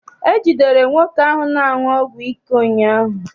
E jidere nwoke ahụ na-aṅụ ọgwụ ike ụnyaahụ.